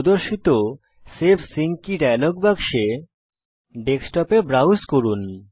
প্রদর্শিত save sync key dialog বাক্সে ডেস্কটপে ব্রাউজ করুন